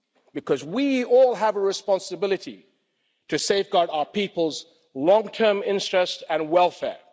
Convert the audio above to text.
Because we all have a responsibility to safeguard our people's long term interests and welfare